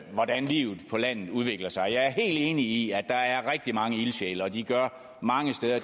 hvordan livet på landet udvikler sig jeg er helt enig i at der er rigtig mange ildsjæle og at de mange steder